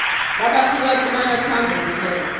labasikati bayetsandza kutsenge